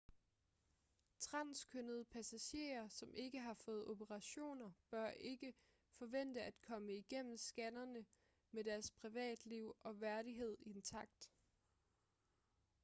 transkønnede passagerer som ikke har fået operationer bør ikke forvente at komme igennem scannerne med deres privatliv og værdighed intakt